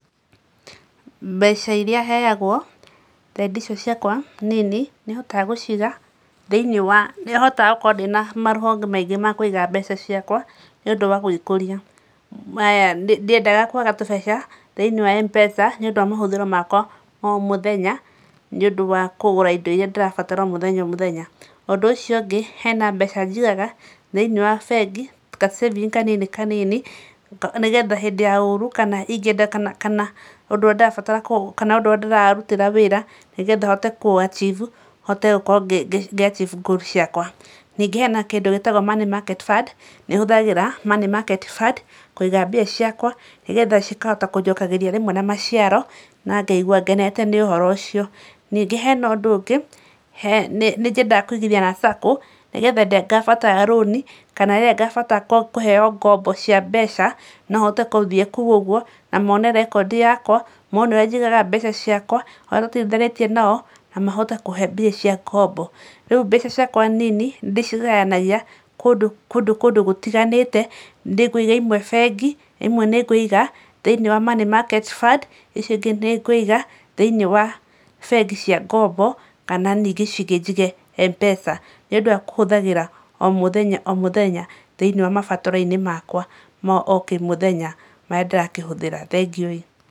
Mbeca iria heagwo, thendi icio ciakwa nini, nĩ hotaga gũciiga thĩinĩ wa, nĩ hotaga gũkoragwo ndĩna marũhonge maingĩ ma kũiga mbeca ciakwa nĩundũ wa gũĩkuria. Ndiendaga kũaga tũbeca thĩinĩ wa MPESA, nĩũndũ wa mahũthĩro makwa ma o mũthenya nĩũndũ wa kũgũra indo iria ndĩrabatara o mũthenya. Ũndũ ũcio ũngĩ, hena mbeca njigaga thiinĩ wa bengi, ka saving kanini kanini nĩgetha hĩndĩ ya ũru, kana ingĩenda kana kana ũndũ ũrĩa ndĩrabatara kana ũndũ ũrĩa ndĩrarutĩra wĩra nĩgetha hote kũũ achieve, hote gũkorwo ngĩ achieve goal ciakwa. Ningĩ hena kĩndũ gĩĩtagwo money market fund, nĩ hũthagĩra money market fund kũiga mbia ciakwa nĩgetha cikahota kũnjokagĩria rĩmwe na maciaro, na ngaigua ngenete nĩ ũhoro ũcio. Ningĩ hena ũndũ ũngĩ, nĩ nyendaga kũigithia na SACCO, nĩgetha hĩndĩ ĩrĩa ngabatara rũni kana rĩrĩa ngabatara kũheo ngombo cia mbeca, no hote kũthiĩ kũu ũguo na maone record yakwa, maone ũrĩa njigaga mbeca ciakwa, ũrĩa tũtwarithanĩtie naom na mahote kũhe mbia cia ngombo. Rĩu mbeca ciakwa nini ndĩcigayanagia kũndũ, kũndũ kũndũ gũtiganĩte, nĩ ngũiga imwe bengi, imwe nĩ ngũiga thĩinĩ wa money market fund, icio ingĩ nĩ ngũiga thĩinĩ wa bengi cia ngombo, kana ningĩ icio ingĩ njige M-PESA, nĩũndũ wa kũhũthagĩra o mũthenya o mũthenya thĩinĩ wa mabataro-inĩ makwa ma o kĩmũthenya marĩa ndĩrakĩhũthĩra. Thengiũi.